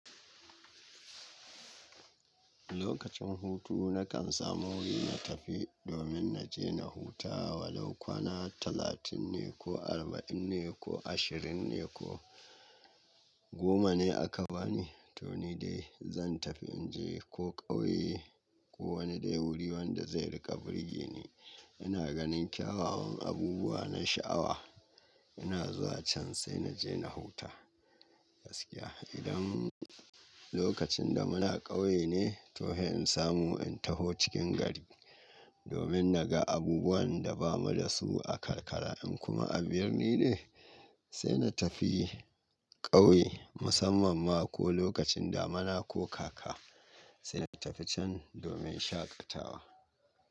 Lokacin hutu na kan samu wuri na tafi domin na je na huta, walau kwana talatin ne ko arba'in ne ko ashirin ne ko goma ne aka bani. To ni dai zan tafi in je ko ƙauye ko wani dai wuri wanda zai riƙa birgi ni. Ina ganin kyawawan abubuwa na sha'awa. Ina zuwa can sai na je na huta gaskiya. Idan lokacin da muna ƙauye ne, to har in samu in taho cikin gari domin na ga abubuwan da ba mu da su a karkara. In kuma a birni ne, sai na tafi ƙauye musamman ma ko lokacin da muna kokaka, sai na tafi can domin shaƙatawa.